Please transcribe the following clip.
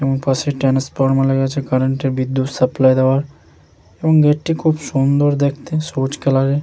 এবং পাশে ট্রান্সফর্মার লেগেছে কারেন্ট এর বিদ্যুৎ সাপ্লাই দেওয়ার এবং এটি খুব সুন্দর দেখতে সবুজ কালার এর।